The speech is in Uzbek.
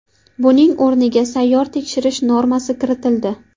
Buning o‘rniga sayyor tekshirish normasi kiritildi.